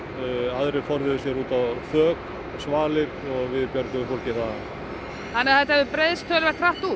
aðrir forðuðu sér út á þök og svalir og við björguðum fólki þaðan þannig að þetta hefur breiðst mjög hratt út